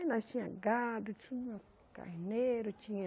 Aí nós tinha gado, tinha carneiro, tinha...